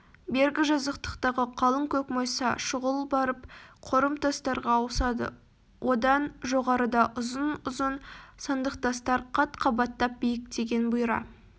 бергі жазықтағы қалың көкмайса шұғыл барып қорым тастарға ауысады одан жоғарыда ұзын-ұзын сандықтастар қат-қабаттап биіктеген бұйра